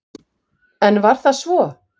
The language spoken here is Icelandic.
En var það svo?